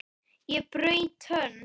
Ég braut tönn!